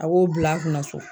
A k'o bil'a kunna so